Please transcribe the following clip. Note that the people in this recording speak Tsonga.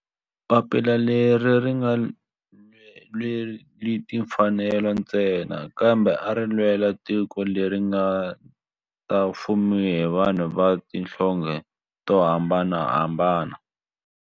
Papila leri a ri nga lweli timfanelo ntsena kambe ari lwela tiko leri nga ta fumiwa hi vanhu va tihlonge to hambanahambana.